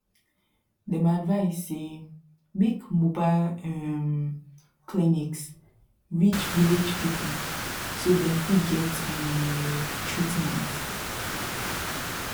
dem advise say make mobile um clinics reach village people so dem fit get um treatment